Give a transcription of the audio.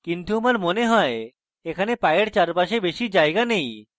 কিন্তু আমার মনে হয় এখানে পায়ের চারপাশে বেশি জায়গা নেই